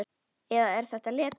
Eða er þetta leti?